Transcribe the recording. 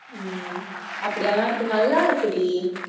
ஹம் அப்படியெல்லாம் இருக்கு நல்லா இருக்குடி